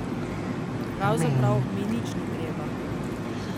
Pravzaprav mi nič ni treba.